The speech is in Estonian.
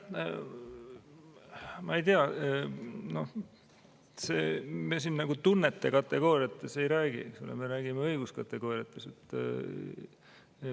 Ma ei tea, me siin nagu tunnete kategooriates ei räägi, me räägime õiguskategooriates.